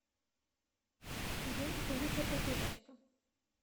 где находится пятерочка